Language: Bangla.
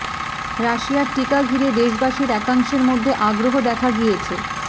রাশিয়ার টিকা ঘিরে দেশবাসীর একাংশের মধ্যে আগ্রহ দেখা গিয়েছে